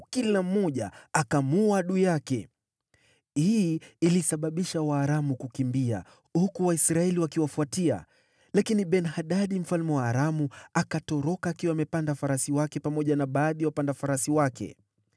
kila mmoja akamuua adui yake. Hii ilisababisha Waaramu kukimbia, huku Waisraeli wakiwafuatia. Lakini Ben-Hadadi mfalme wa Aramu akatoroka akiwa amepanda farasi wake pamoja na baadhi ya wapanda farasi wake.